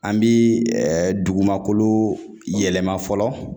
An bi dugumakolo yɛlɛma fɔlɔ